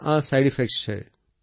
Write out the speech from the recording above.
આ side effect છે